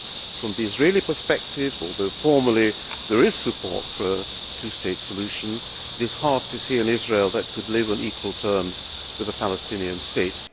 From the Israeli perspective, although formally there is support for a two state solution, it is hard to see an Israel that could live on equal terms with a Palestinian state.